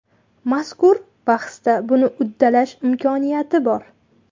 Mazkur bahsda buni uddalash imkoniyati bor.